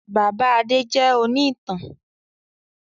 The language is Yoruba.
Bàbá Adé jẹ òní ìtàn